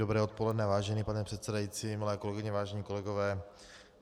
Dobré odpoledne vážený pane předsedající, milé kolegyně, vážení kolegové.